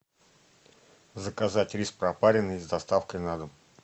заказать рис пропаренный с доставкой на дом